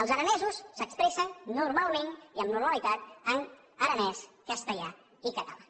els aranesos s’expressen normalment i amb normalitat en aranès castellà i català